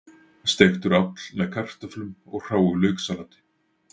Steiktur áll með kartöflum og hráu lauksalati